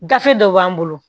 Gafe dɔ b'an bolo